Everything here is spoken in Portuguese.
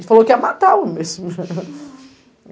Ele falou que ia matar o.